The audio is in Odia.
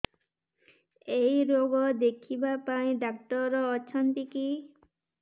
ଏଇ ରୋଗ ଦେଖିବା ପାଇଁ ଡ଼ାକ୍ତର ଅଛନ୍ତି କି